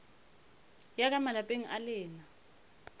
ya ka malapeng a lena